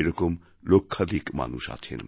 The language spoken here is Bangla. এরকম লক্ষাধিক মানুষ আছেন